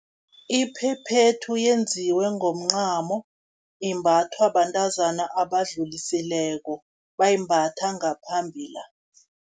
Iphephethu yenziwe ngomncamo, imbathwa bantazana abadlulisileko, bayimbatha ngaphambili la.